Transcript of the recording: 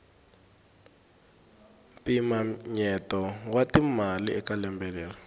mpinamyeto wa timali eka lembe leri